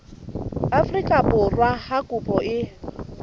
afrika borwa ha kopo e